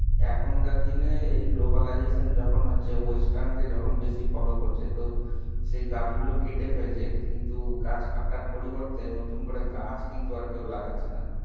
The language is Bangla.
এখনকার দিনে এই globalisation যখন হচ্ছে western কে যখন বেশী follow করছে, তো সেই গাছগুলো কেটে ফেলছে. কিন্তু, গাছ কাটার পরিবর্তে নতুন করে গাছ কিন্তু কেউ লাগাচ্ছে না.